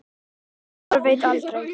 Maður veit aldrei.